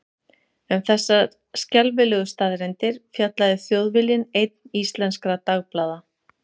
Um þessar skelfilegu staðreyndir fjallaði Þjóðviljinn einn íslenskra dagblaða.